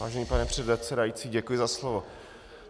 Vážený pane předsedající, děkuji za slovo.